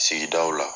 Sigidaw la